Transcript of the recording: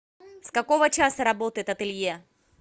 с какого часа работает ателье